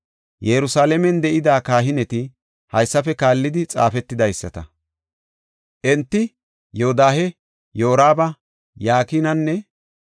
Yerusalaamen de7ida kahineti haysafe kaallidi xaafetidaysata. Enti Yodaha, Yoraba, Yakinanne